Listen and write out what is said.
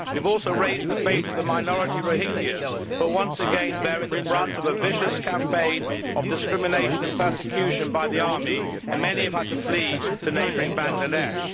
We have also raised the fate of the minority Rohingyas, who are once again bearing the brunt of a vicious campaign of discrimination and persecution by the army, and many have had to flee to neighbouring Bangladesh.